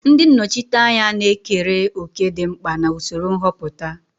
Ndị nnọchiteanya na-ekere òkè dị mkpa na usoro nhọpụta.